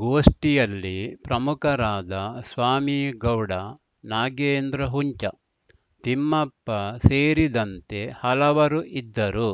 ಗೋಷ್ಠಿಯಲ್ಲಿ ಪ್ರಮುಖರಾದ ಸ್ವಾಮಿಗೌಡ ನಾಗೇಂದ್ರ ಹುಂಚತಿಮ್ಮಪ್ಪ ಸೇರಿದಂತೆ ಹಲವರು ಇದ್ದರು